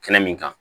Kɛnɛ min kan